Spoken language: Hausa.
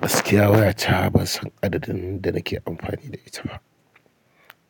Gaskiya waya ta ban san adadin da nake amfani da ita ba.